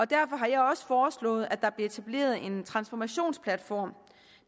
derfor har jeg også foreslået at der bliver etableret en transformationsplatform